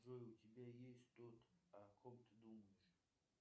джой у тебя есть тот о ком ты думаешь